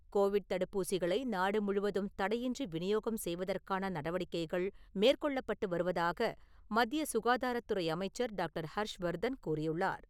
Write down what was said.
Covid தடுப்பூசிகளை நாடு முழுவதும் தடையின்றி விநியோகம் செய்வதற்கான நடவடிக்கைகள் மேற்கொள்ளப்பட்டு வருவதாக மத்திய சுகாதாரத்துறை அமைச்சர் டாக்டர் ஹர்ஷ்வர்தன் கூறியுள்ளார்.